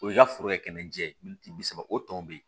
O y'i ka foro ye kɛnɛ jɛ min bi saba o tɔn bɛ yen